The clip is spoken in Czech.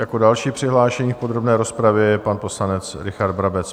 Jako další přihlášený v podrobné rozpravě je pan poslanec Richard Brabec.